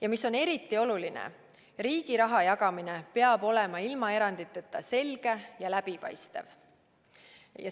Ja mis on eriti oluline: riigi raha jagamine peab olema ilma eranditeta selge ja läbipaistev.